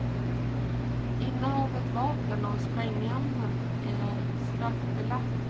Innehav av vapen och sprängämnen är straffbelagt.